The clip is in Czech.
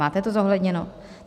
Máte to zohledněno?